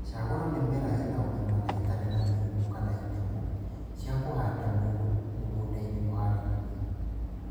Shagũra mĩmera ĩna ũgima na ĩtarĩ na mĩrimu kana itemo cia kũhanda mũgũndainĩ mũharĩrie